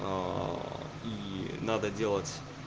и надо делать